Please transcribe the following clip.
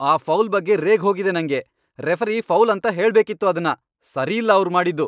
ಆ ಫೌಲ್ ಬಗ್ಗೆ ರೇಗ್ ಹೋಗಿದೆ ನಂಗೆ! ರೆಫರಿ ಫೌಲ್ ಅಂತ ಹೇಳ್ಬೇಕಿತ್ತು ಅದ್ನ. ಸರಿಯಿಲ್ಲ ಅವ್ರ್ ಮಾಡಿದ್ದು.